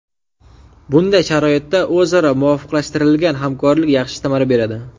Bunday sharoitda o‘zaro muvofiqlashtirilgan hamkorlik yaxshi samara beradi.